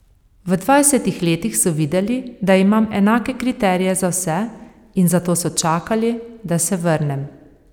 V dvajsetih letih so videli, da imam enake kriterije za vse, in zato so čakali, da se vrnem.